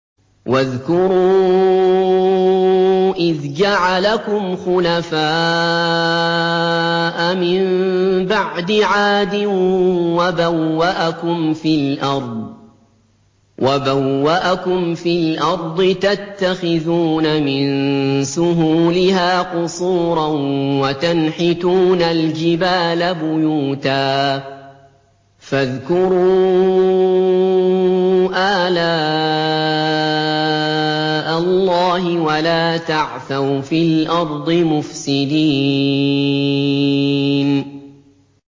وَاذْكُرُوا إِذْ جَعَلَكُمْ خُلَفَاءَ مِن بَعْدِ عَادٍ وَبَوَّأَكُمْ فِي الْأَرْضِ تَتَّخِذُونَ مِن سُهُولِهَا قُصُورًا وَتَنْحِتُونَ الْجِبَالَ بُيُوتًا ۖ فَاذْكُرُوا آلَاءَ اللَّهِ وَلَا تَعْثَوْا فِي الْأَرْضِ مُفْسِدِينَ